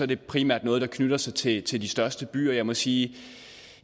det primært noget der knytter sig til til de største byer og jeg må sige at